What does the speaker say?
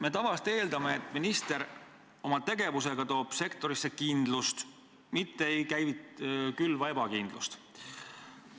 Me tavaliselt eeldame, et minister toob oma tegevusega sektorisse kindlust, mitte ei külva ebakindlust.